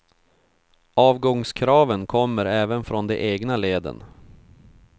Avgångskraven kommer även från de egna leden.